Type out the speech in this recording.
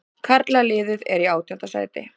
Karlaliðið er í átjánda sæti